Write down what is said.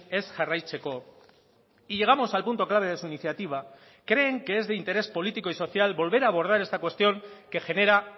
ez jarraitzeko y llegamos al punto clave de su iniciativa creen que es de interés político y social volver a abordar esta cuestión que genera